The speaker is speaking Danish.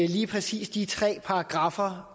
lige præcis de tre paragraffer